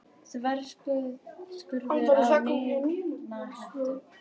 Þverskurður af nýrnahettu.